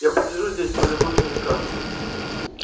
я посижу здесь полюбуюсь на закат